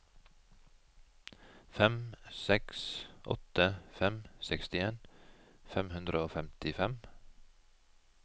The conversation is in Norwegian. fem seks åtte fem sekstien fem hundre og femtifem